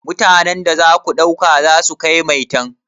Mutanan da za ku ɗauka aiki za su kai maitan?